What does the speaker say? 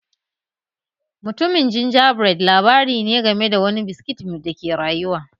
Mutumin Gingerbread labari ne game da wani biskit da ke rayuwa